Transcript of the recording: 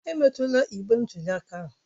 Emetụla igbe ntụli aka ahụ!